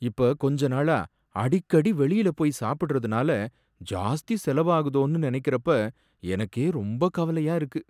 இப்ப கொஞ்சநாளா அடிக்கடி வெளியில போயி சாப்பிடறதுனால ஜாஸ்தி செலவாகுதோனு நனைக்கிறப்ப எனக்கே ரொம்ப கவலையா இருக்கு.